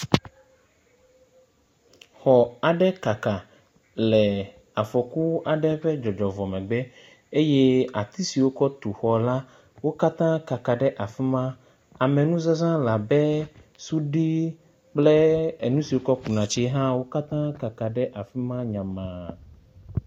Xɔ aɖe kaka le afɔku aɖe ƒe dzɔdzɔ vɔ megbe eye ati siwo wokɔ tu xɔ la, wo katã kaka ɖe afi ma. Ame nu zãza la be suɖi kple nu si wokɔ ku na tsi hã wo katã kaka ɖe afi ma nyamaa.